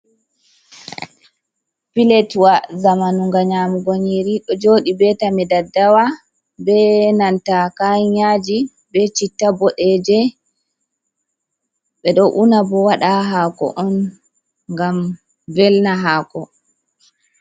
Piletwa zamanu nga nyamugo nyiri, ɗo joɗi be tame daddawa be nanta kayan yaji be citta boɗeje, ɓeɗo una bo waɗa ha hako on ngam velna hako.